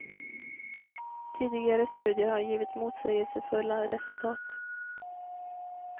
Tidigare studier har givit motsägelsefulla resultat.